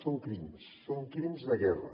són crims són crims de guerra